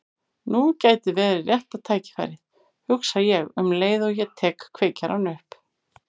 Nú gæti verið rétta tækifærið, hugsa ég um leið og ég tek kveikjarann upp.